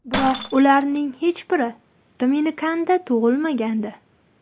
Biroq ularning hech biri Dominikanda tug‘ilmagandi.